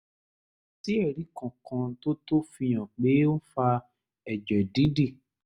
kò sí ẹ̀rí kankan tó tó fi hàn pé ó ń fa ẹ̀jẹ̀ dídì